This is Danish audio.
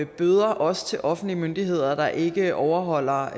bøder også til offentlige myndigheder der ikke overholder